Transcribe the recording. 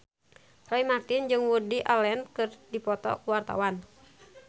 Roy Marten jeung Woody Allen keur dipoto ku wartawan